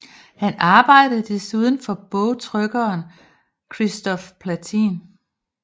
Han arbejdede desuden for bogtrykkeren Christophe Plantin